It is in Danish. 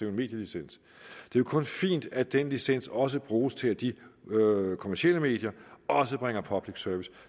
en medielicens det er kun fint at den licens også bruges til at de kommercielle medier også bringer public service